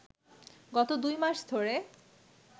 গত দুই মাস ধরে